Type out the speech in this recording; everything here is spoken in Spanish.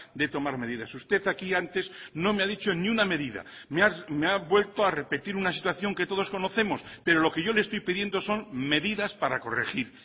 de tomar medidas usted aquí antes no me ha dicho ni una medida me ha vuelto a repetir una situación que todos conocemos pero lo que yo le estoy pidiendo son medidas para corregir